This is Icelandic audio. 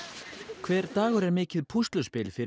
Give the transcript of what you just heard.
hver dagur er mikið púsluspil fyrir